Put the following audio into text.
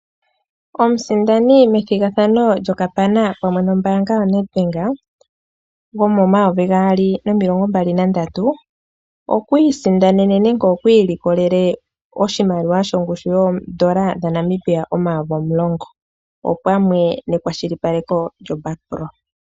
Omusindani methigathano lyokapana pamwe nombaanga yoNedBank gomo 2023 okwiisindanene nenge iilikolele oshimaliwa shongushu yoondola dhaNamibia 10 000 opamwe nekwashili paleko lyo Bakpro.